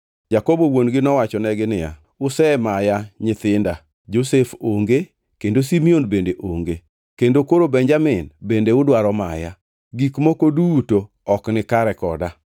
Jakobo wuon-gi nowachonegi niya, “Usemaya nyithinda. Josef onge, kendo Simeon bende onge, kendo koro Benjamin bende udwaro maya. Gik moko duto ok nikare koda!”